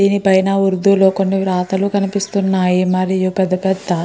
దీని పైన ఉర్దూ లో కొన్ని వ్రాతలు కనిపిస్తున్నాయి మరియు పెద్ద పెద్ద --